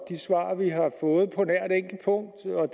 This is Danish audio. de svar vi har fået på